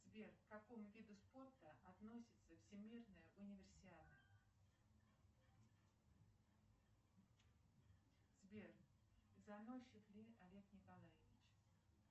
сбер к какому виду спорта относится всемирная универсиада сбер заносчив ли олег николаевич